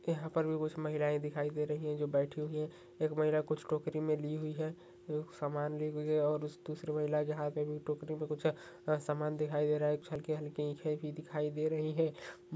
यहाँ पर भी कुछ महिलाएं दिखाई दे रही हैं जो बैठी हुई हैं एक महिला कुछ टोकरी में ली हुई है एक सामान लिए हुए हैं और उस दूसरी महिला के हाथ में भी टोकरी में कुछ है सामान दिखाई दे रहा हैं हल्के हल्के भी दिखाई दे रही हैं।